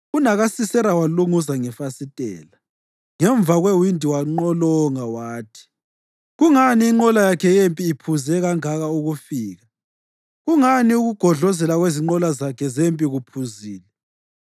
UnakaSisera walunguza ngefasitela; ngemva kwewindi wanqolonga wathi, ‘Kungani inqola yakhe yempi iphuze kangaka ukufika? Kungani ukugodlozela kwezinqola zakhe zempi kuphuzile?’